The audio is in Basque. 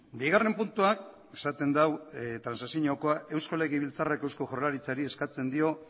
bigarren puntuak esaten du transakziokoa eusko legebiltzarrak eusko jaurlaritzari eskatzen dio